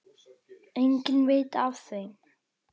Enginn veit af þeim.